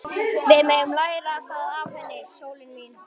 Við megum læra það af henni, sólin mín.